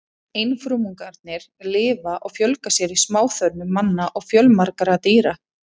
Einfrumungarnir lifa og fjölga sér í smáþörmum manna og fjölmargra dýra.